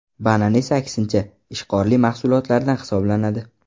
Banan esa aksincha, ishqorli mahsulotlardan hisoblanadi.